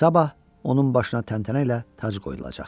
Sabah onun başına təntənə ilə tac qoyulacaqdı.